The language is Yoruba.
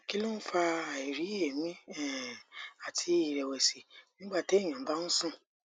kí ló ń fa àìrí ẹmí um àti ìrẹwẹsì nígbà téèyàn bá ń sùn